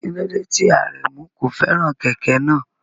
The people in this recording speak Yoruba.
Kí ló dé tí Aremu kò fẹ́ràn kẹ̀kẹ́ náà?